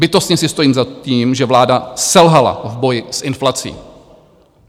Bytostně si stojím za tím, že vláda selhala v boji s inflací.